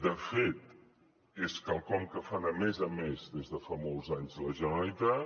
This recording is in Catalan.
de fet és quelcom que fa de més a més des de fa molts anys la generalitat